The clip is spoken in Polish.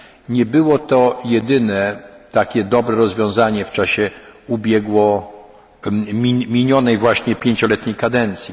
rozwiązania. Nie było to jedyne takie dobre rozwiązanie w czasie minionej właśnie pięcioletniej